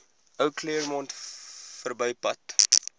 ou claremont verbypad